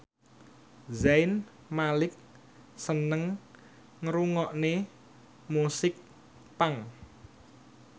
Zayn Malik seneng ngrungokne musik punk